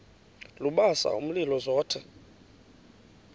lubasa umlilo zothe